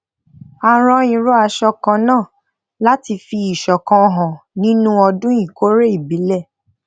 a rán irú aṣọ kan náà lati fi isokan hàn nínú ọdún ìkórè ìbílẹ